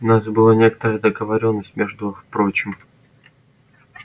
у нас была некоторая договорённость между прочим